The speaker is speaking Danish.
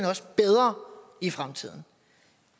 også bedre i fremtiden